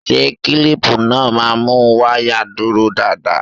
Ṣé kílípù náà má mú wáyà dúró dáadáa?